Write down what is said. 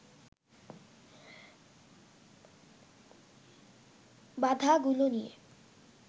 বাধাগুলো নিয়ে